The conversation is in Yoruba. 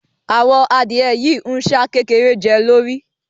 Àwọn adìẹ yìí ń ṣá kékeré jẹ́ lórí